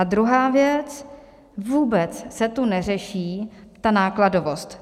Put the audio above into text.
A druhá věc, vůbec se tu neřeší ta nákladovost.